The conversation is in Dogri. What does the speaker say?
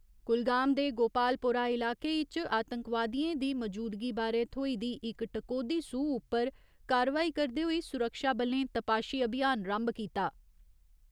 कुलगाम दे गोपालपोरा इलाके इच आतंकवादियें दी मजूदगी बारे थ्होई दी इक टकोह्‌दी सूह उप्पर कारवाई करदे होई सुरक्षाबलें तपाशी अभियान रम्भ कीता।